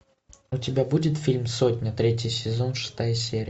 у тебя будет фильм сотня третий сезон шестая серия